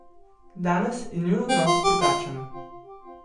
Danes je njun odnos drugačen.